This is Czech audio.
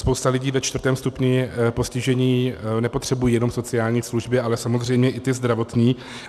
Spousta lidí ve čtvrtém stupni postižení nepotřebuje jen sociální služby, ale samozřejmě i ty zdravotní.